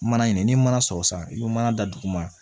Mana ɲini ni mana sɔrɔ sisan i bɛ mana da dugu ma